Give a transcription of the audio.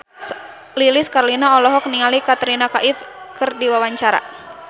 Lilis Karlina olohok ningali Katrina Kaif keur diwawancara